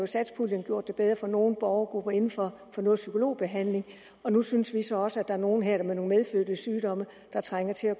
satspuljen gjort det bedre for nogle borgergrupper inden for psykologbehandling og nu synes vi så også der er nogle her med nogle medfødte sygdomme der trænger til at